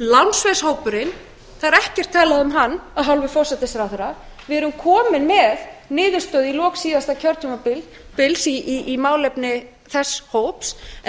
lánsveðshópurinn það er ekkert talað um hann af hálfu forsætisráðherra við erum komin með niðurstöðu í lok síðasta kjörtímabils í málefni þess hóps en